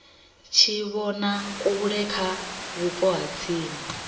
tshivhonakule kha vhupo ha tsini